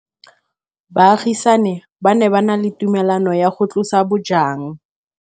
Baagisani ba ne ba na le tumalanô ya go tlosa bojang.